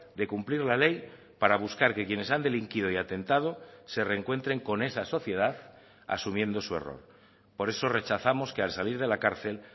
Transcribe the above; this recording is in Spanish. de cumplir la ley para buscar que quienes han delinquido y atentado se rencuentren con esa sociedad asumiendo su error por eso rechazamos que al salir de la cárcel